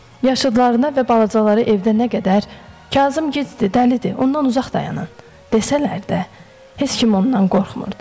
Yaşıdlarına və balacalar evdə nə qədər "Kazım gicdir, dəlidir, ondan uzaq dayanın" desələr də, heç kim ondan qorxmurdu.